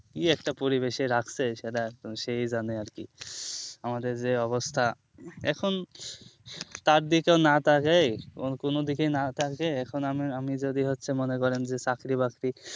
কি একটা পরিবেশে রাখছে সেটা একদম সেই জানে আর কি আমাদের যে অবস্থা এখন তার দিকও না তাকাই এবং কোনো দিকে না তাকাই এখন আমি আমি যদি হচ্ছে মন করেন চাকরি বাকরি